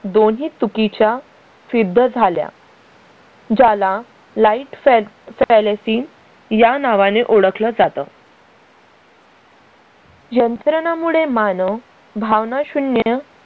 दोन्ही चुकीच्या फिद्ध झाल्या. ज्याला light fan या नावाने ओळखलं जातं. यंत्रणा मुळे मानव भावना शून्य